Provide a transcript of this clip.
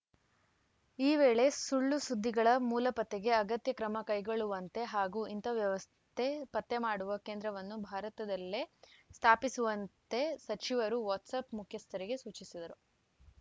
ಈ ವೇಳೆ ಸುಳ್ಳು ಸುದ್ದಿಗಳ ಮೂಲಪತ್ತೆಗೆ ಅಗತ್ಯ ಕ್ರಮ ಕೈಗೊಳ್ಳುವಂತೆ ಹಾಗೂ ಇಂಥ ವ್ಯವಸ್ಥೆ ಪತ್ತೆ ಮಾಡುವ ಕೇಂದ್ರವನ್ನು ಭಾರತದಲ್ಲೇ ಸ್ಥಾಪಿಸುವಂತೆ ಸಚಿವರು ವಾಟ್ಸಪ್‌ ಮುಖ್ಯಸ್ಥರಿಗೆ ಸೂಚಿಸಿದ್ದರು